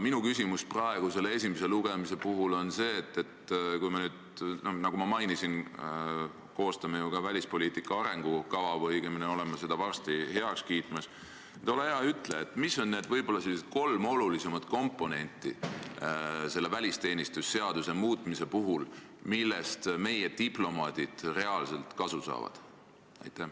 Minu küsimus praegu, esimese lugemise ajal on see, et kui me nüüd, nagu ma mainisin, koostame ju ka välispoliitika arengukava või õigemini oleme seda varsti heaks kiitmas, siis ole hea ja ütle, mis on need kolm olulisemat komponenti selle välisteenistuse seaduse muutmise puhul, millest meie diplomaadid reaalselt kasu saavad.